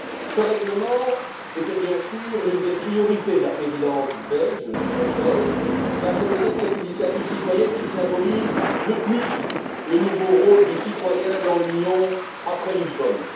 Ce règlement était bien sûr l'une des priorités de la Présidence belge du Conseil car c'est peut être cette initiative citoyenne qui symbolise le plus le nouveau rôle du citoyen dans l'Union après Lisbonne.